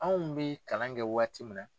Anw bɛ kalan kɛ waati min na.